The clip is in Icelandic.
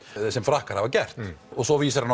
sem Frakkar hafa gert svo vísar hann